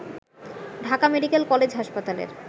Dhaka medical college হাসপাতালের